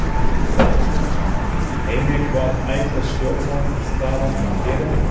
Telma Tómasson: Heimir hvað ætlar stjórnarandstaðan að gera?